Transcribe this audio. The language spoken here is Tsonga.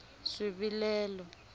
swivilelo